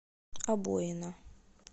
обоина